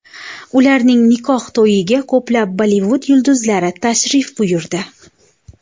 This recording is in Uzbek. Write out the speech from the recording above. Ularning nikoh to‘yiga ko‘plab Bollivud yulduzlari tashrif buyurdi.